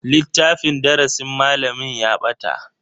Littafin darasin malamin ya bata.